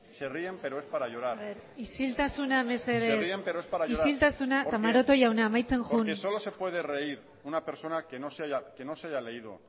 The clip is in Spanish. se ríen pero es para llorar isiltasuna mesedez isiltasuna eta maroto jauna amaitzen joan porque solo se puede reír una persona que no se haya leído